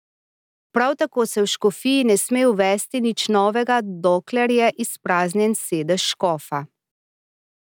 Prav tako se v škofiji ne sme uvesti nič novega, dokler je izpraznjen sedež škofa.